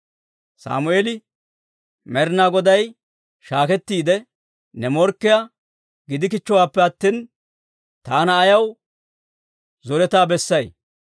Sammeeli, «Med'inaa Goday shaakettiide ne morkkiyaa gidikichchowaappe attina, taana ayaw zoretaa bessay?